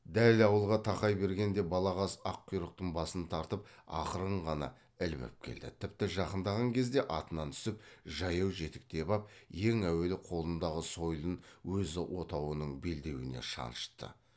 дәл ауылға тақай бергенде балағаз аққұйрықтың басын тартып ақырын ғана ілбіп келді тіпті жақындаған кезде атынан түсіп жаяу жетектеп ап ең әуелі қолындағы сойылын өз отауының белдеуіне шанышты